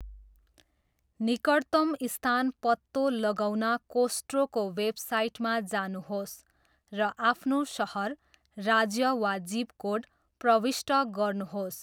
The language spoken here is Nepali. निकटतम स्थान पत्तो लगाउन कोस्ट्रोको वेबसाइटमा जानुहोस् र आफ्नो सहर, राज्य, वा जिप कोड प्रविष्ट गर्नुहोस्।